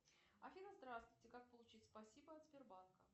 афина здравствуйте как получить спасибо от сбербанка